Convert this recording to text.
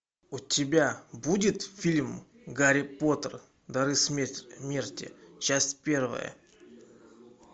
у тебя будет фильм гарри поттер дары смерти часть первая